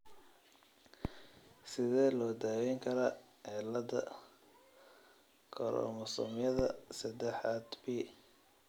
Sidee loo daweyn karaa cilada koromosoomyada seedexad p?